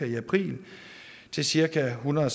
i april til cirka ethundrede og